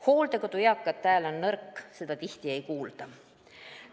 Hooldekodus elavate eakate hääl on nõrk, seda tihti ei kuulda.